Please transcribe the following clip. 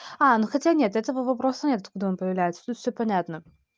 а ну хотя нет этого вопроса нет откуда он появляется тут все понятно